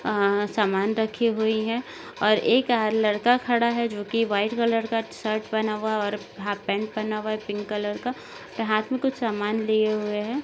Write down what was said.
अ सामान रखी हुई है और एक अ लड़का खड़ा है जोकी व्हाइट कलर का शर्ट पहना हुआ और हाफपैंट पहना हुआ है पिंक कलर का हाथ मे कुछ सामान लिए हुए है।